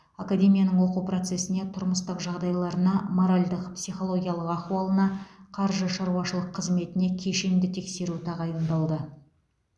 академияның оқу процесіне тұрмыстық жағдайларына моральдық психологиялық ахуалына қаржы шаруашылық қызметіне кешенді тексеру тағайындалды